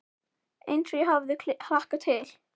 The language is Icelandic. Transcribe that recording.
Eins og ég hafði hlakkað til.